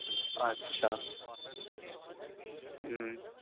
আচ্ছা হম